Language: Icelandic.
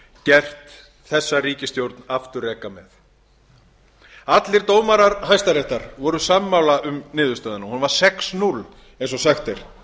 gert þessa ríkisstjórn afturreka með allir dómarar hæstaréttar voru sammála um niðurstöðuna hún var sex núll eins og sagt er